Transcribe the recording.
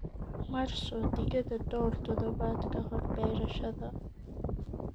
Marso digada dhowr toddobaad ka hor beerashada."